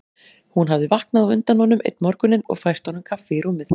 Hún hafði vaknað á undan honum einn morguninn og fært honum kaffi í rúmið.